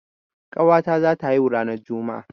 Ƙawa ta za ta haihu ranar Juma'a